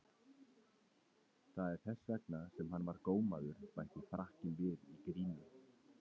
Það er þess vegna sem hann var gómaður, bætti Frakkinn við í gríni.